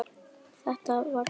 Var þetta brot?